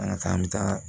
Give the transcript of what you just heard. An ka k'an bɛ taa